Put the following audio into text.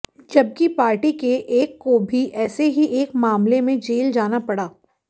जबकि पार्टी के एक को भी ऐसे ही एक मामले में जेल जाना पड़ा